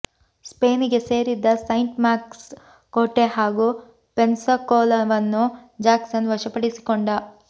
ಸ್ಪೇನಿಗೆ ಸೇರಿದ್ದ saint Marks ಕೋಟೆ ಹಾಗೂ ಪೆನ್ಸಕೋಲವನ್ನು ಜ್ಯಾಕ್ಸನ್ ವಶಪಡಿಸಿಕೊಂಡ